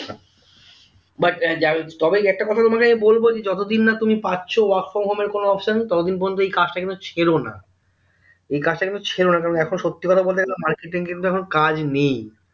but ah তবে একটা কথা বলবো মানে যে যতদিন না তুমি পাচ্ছ work from home এর কোনো option ততদিন পর্যন্তু কিন্তু এই কাজটা কিন্তু ছেড়োনা এইকাজ কিন্তু ছেড়োনা কারণ এখন সত্যিকথা বলতে গেলে হম market এ কিন্তু এখন কাজ নেই